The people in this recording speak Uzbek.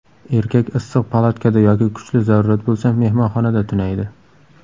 Erkak issiq palatkada yoki kuchli zarurat bo‘lsa, mehmonxonada tunaydi.